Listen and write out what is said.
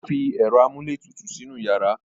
O fi ẹ̀rọ amúlétutù sínú yàrá.